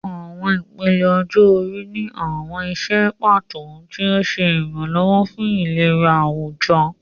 Àwọn ìpele ọjọ́ orí ní àwọn iṣẹ́ pàtó, tí ó ń ṣe ìrànlọ́wọ́ fún ìlera àwùjọ.